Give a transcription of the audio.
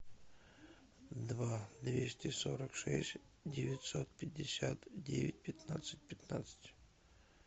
два двести сорок шесть девятьсот пятьдесят девять пятнадцать пятнадцать